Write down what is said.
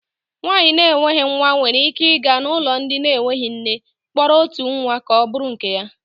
Nwaanyị na enweghị nwa nwere ike ịga n'ụlọ ndị enwe nne kpọrọ otu nwa ka ọ bụrụ nke ya.